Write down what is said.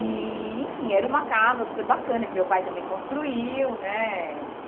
E, enfim, era uma casa super bacana, que meu pai também construiu, né?